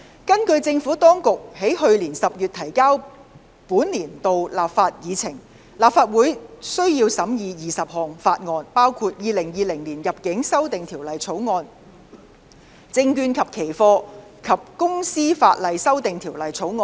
根據政府當局在去年10月提交的本年度立法議程，立法會須審議20項法案，包括《2020年入境條例草案》和《證券及期貨及公司法例條例草案》。